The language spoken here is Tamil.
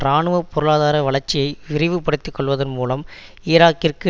இராணுவ பொருளாதார வளர்ச்சியை விரைவுபடுத்தி கொள்வதன் மூலம் ஈராக்கிற்கு